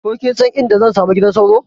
Ko kinsan inda zan samu gidan sauro?